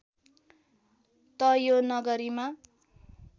त यो नगरीमा